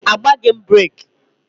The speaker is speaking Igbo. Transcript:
Agbaghị m breeki